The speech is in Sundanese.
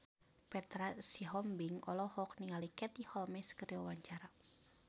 Petra Sihombing olohok ningali Katie Holmes keur diwawancara